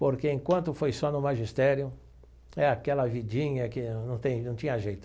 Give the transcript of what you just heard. Porque enquanto foi só no magistério, é aquela vidinha que não tem não tinha jeito.